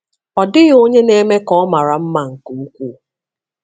Ọ dịghị onye na-eme ka ọ mara mma nke ukwuu.